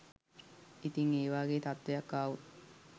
ඉතින් ඒ වාගේ තත්ත්වයක් ආවොත්